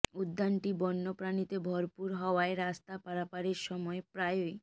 উদ্যানটি বন্য প্রাণীতে ভরপুর হওয়ায় রাস্তা পারাপারের সময় প্রায়ই